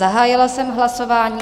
Zahájila jsem hlasování.